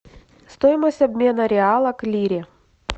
стоимость обмена реала к лире